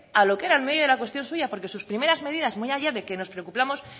a lo que era el meollo de la cuestión suya porque sus primeras medidas muy allá de que nos preocupamos